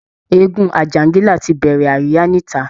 Eégún àjàǹgìlá ti bẹ̀rẹ̀ àríyá níta